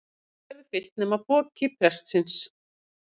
Allt verður fyllt nema pokinn prestsins.